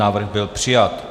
Návrh byl přijat.